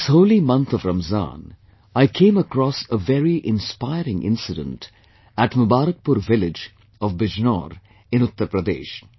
In this holy month of Ramzan, I came across a very inspiring incident at Mubarakpur village of Bijnor in Uttar Pradesh